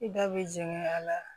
I da bɛ jɛngɛ a la